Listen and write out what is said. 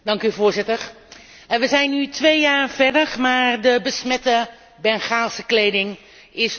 We zijn nu twee jaar verder, maar de besmette Bengaalse kleding is nog lang niet schoon.